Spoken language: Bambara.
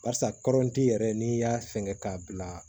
Barisa kɔrɔnti yɛrɛ n'i y'a fɛngɛ k'a bila